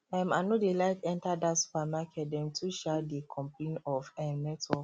um i no dey like enter that supermarket dem too um dey complain of um network